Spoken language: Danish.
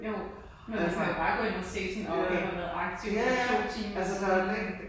Jo. Men man kan jo bare gå ind og se sådan åh okay har været aktiv for to timer siden